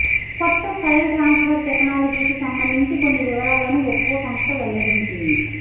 కొత్త file transfer టెక్నాలజీకి సంబంధించి కొన్ని వివరాలను ఒప్పో సంస్థ వెల్లడించింది